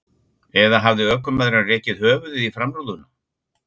Eða hafði ökumaðurinn rekið höfuðið í framrúðuna?